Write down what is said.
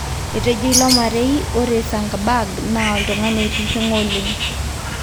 Etejo ilo marei ore Zuckerberg naa oltungani oitiringa oleng.